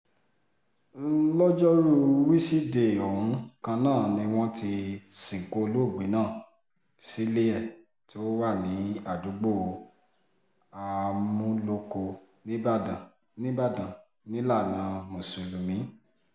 lọ́jọ́rùú wíṣídẹ̀ẹ́ ohun kan náà ni wọ́n ti sìnkú olóògbé náà sílé ẹ̀ tó wà ládùúgbò àmúlòkó nìbàdàn nìbàdàn nílànà mùsùlùmí